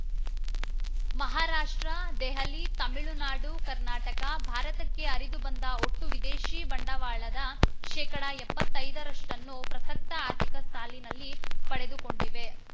ಮಹಾರಾಷ್ಟ್ರದೆಹಲಿ ತಮಿಳುನಾಡುಕರ್ನಾಟಕ ಭಾರತಕ್ಕೆ ಹರಿದು ಬಂದ ಒಟ್ಟು ವಿದೇಶಿ ಬಂಡವಾಳದ ಶೇಕಡಾ ಎಪ್ಪತ್ತೈದರಷ್ಟನ್ನು ಪ್ರಸಕ್ತ ಆರ್ಥಿಕ ಸಾಲಿನಲ್ಲಿ ಪಡೆದುಕೊಂಡಿವೆ